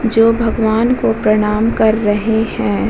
जो भगवान को प्रणाम कर रहे हैं |